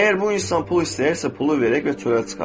Əgər bu insan pul istəyirsə, pulu verək və çölə çıxaq.